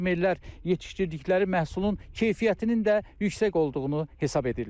Fermerlər yetişdirdikləri məhsulun keyfiyyətinin də yüksək olduğunu hesab edirlər.